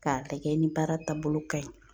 K'a lagɛ ni baara taabolo ka ɲi